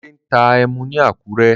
Délé ń ta ẹmu ni Àkúrẹ́.